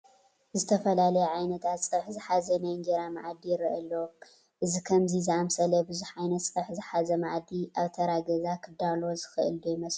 ዝተፈላለዩ ዓይነታት ፀብሒ ዝሓዘ ናይ እንጀራ መኣዲ ይርአ ኣሎ፡፡ እዚ ከምዚ ዝኣምሰለ ብዙሕ ዓይነት ፀብሒ ዝሓዘ መኣዲ ኣብ ተራ ገዛ ክዳሎ ዝኽእል ዶ ይመስለኩም?